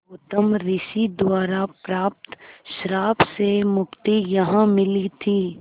गौतम ऋषि द्वारा प्राप्त श्राप से मुक्ति यहाँ मिली थी